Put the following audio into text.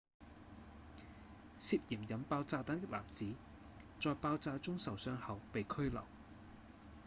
涉嫌引爆炸彈的男子在爆炸中受傷後被拘留